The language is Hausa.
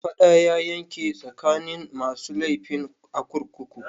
Fada ya barke tsakanin masu laifin a kurkukun.